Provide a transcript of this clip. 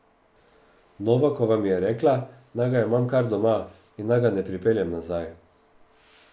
Novakova mi je rekla, naj ga imam kar doma in naj ga ne pripeljem nazaj.